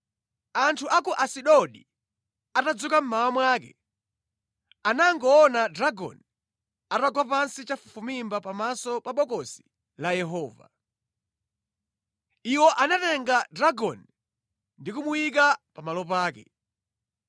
Anthu a ku Asidodi atadzuka mmawa mwake, anangoona Dagoni atagwa pansi chafufumimba pamaso pa Bokosi la Yehova! Iwo anatenga Dagoni ndi kumuyimika pamalo pake.